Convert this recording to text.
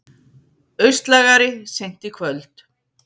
Austlægari seint í kvöld